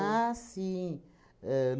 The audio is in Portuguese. sim! Ahn